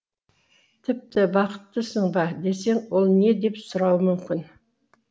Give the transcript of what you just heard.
тіпті бақыттысың ба десең ол не деп сұрауы мүмкін